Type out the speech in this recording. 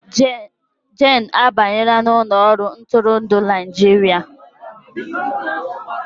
Jane abanyela n'ụlọ ọrụ ntụrụndụ Naịjirịa